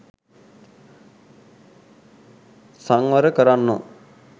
සංවර කරන්නේ